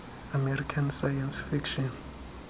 american science fiction